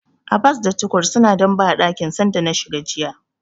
Abbas da Tukur suna dambe a dakin sanda na shiga jiya.